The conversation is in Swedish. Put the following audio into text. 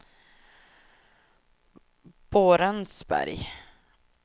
Borensberg